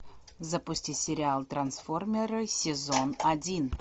запусти сериал трансформеры сезон один